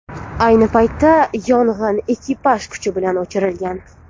Ayni paytda yong‘in ekipaj kuchi bilan o‘chirilgan.